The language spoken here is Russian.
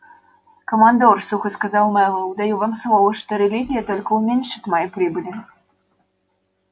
командор сухо сказал мэллоу даю вам слово что религия только уменьшит мои прибыли